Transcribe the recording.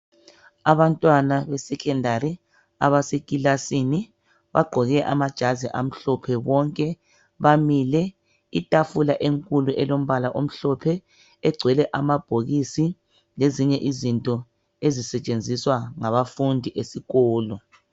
Abantwana besecondary abaseclasini bagqoke amajazi amhlophe bonke bamile. Itafula enkulu elombala omhlophe egcwele amabhokisi lezinye izinto ezisetshenziswa ngabafundi esikolo.